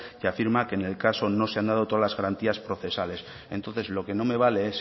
que afirma que en el caso no se han dado todas las garantías procesales entonces lo que no me vale es